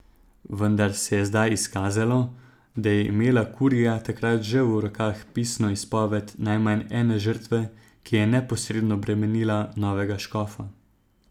Vendar se je zdaj izkazalo, da je imela kurija takrat že v rokah pisno izpoved najmanj ene žrtve, ki je neposredno bremenila novega škofa.